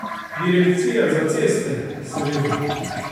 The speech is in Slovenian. Direkcija za ceste, seveda ...